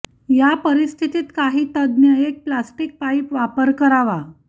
या परिस्थितीत काही तज्ञ एक प्लास्टिक पाईप वापर करावा